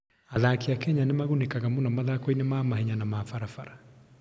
Athaki a Kenya nĩ magunĩkaga mũno mathako-inĩ ma mahenya na ma barabara.